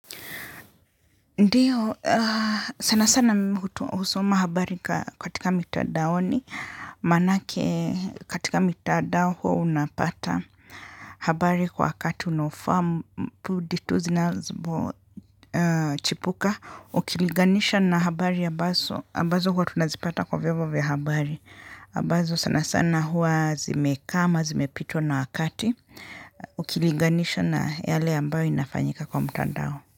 Ndiyo, sana sana husoma habari katika mitandaoni manake katika mitandao hua unapata habari kwa wakati unaofaa pundi tu zinapochipuka. Ukiliganisha na habari ambazo hua tunazipata kwa vyombo vya habari. Ambazo sana sana hua zimekaa ama, zimepitwa na wakati. Ukiliganisha na yale ambayo inafanyika kwa mtandao.